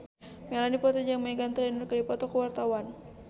Melanie Putri jeung Meghan Trainor keur dipoto ku wartawan